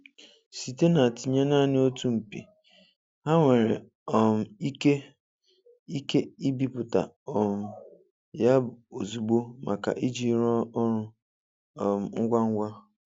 Site na tinye naanị otu mpi, ha nwere um ike ike ibiputa um ya ozugbo maka iji rụọ ọrụ um ngwa ngwa.